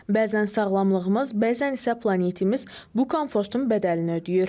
Bəzən sağlamlığımız, bəzən isə planetimiz bu komfortun bədəlini ödəyir.